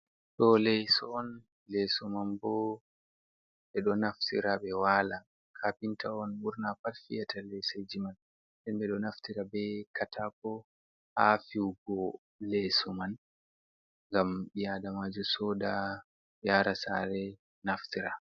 Ɗo leeso on, leeson man bo ,ɓe ɗo naftira ɓe waala. kafinta on ɓurna pat fiyata leeseji may. Nden ɓe ɗo naftira be kataako haa fiigo leeso man, ngam bi-aadamajo sooda yaara saare naftira.